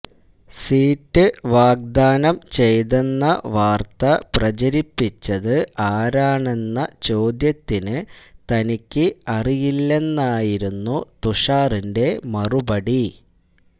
seat വാഗ്ദാനം ചെയ്തെന്ന വാർത്ത പ്രചരിപ്പിച്ചത് ആരാണെന്ന ചോദ്യത്തിന് തനിക്ക് അറിയില്ലെന്നായിരുന്നു തുഷാറിന്റെ മറുപടി